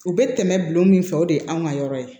U bɛ tɛmɛ bulon min fɛ o de ye anw ka yɔrɔ ye